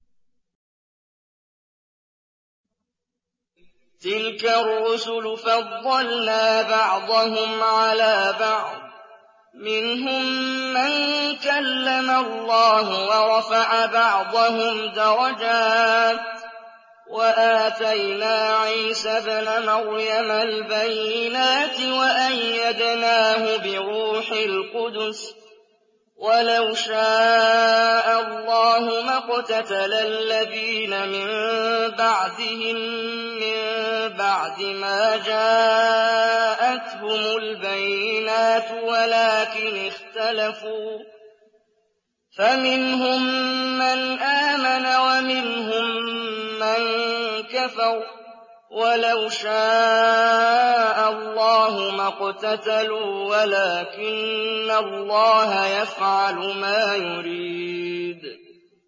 ۞ تِلْكَ الرُّسُلُ فَضَّلْنَا بَعْضَهُمْ عَلَىٰ بَعْضٍ ۘ مِّنْهُم مَّن كَلَّمَ اللَّهُ ۖ وَرَفَعَ بَعْضَهُمْ دَرَجَاتٍ ۚ وَآتَيْنَا عِيسَى ابْنَ مَرْيَمَ الْبَيِّنَاتِ وَأَيَّدْنَاهُ بِرُوحِ الْقُدُسِ ۗ وَلَوْ شَاءَ اللَّهُ مَا اقْتَتَلَ الَّذِينَ مِن بَعْدِهِم مِّن بَعْدِ مَا جَاءَتْهُمُ الْبَيِّنَاتُ وَلَٰكِنِ اخْتَلَفُوا فَمِنْهُم مَّنْ آمَنَ وَمِنْهُم مَّن كَفَرَ ۚ وَلَوْ شَاءَ اللَّهُ مَا اقْتَتَلُوا وَلَٰكِنَّ اللَّهَ يَفْعَلُ مَا يُرِيدُ